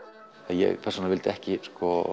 ég persónulega vildi ekki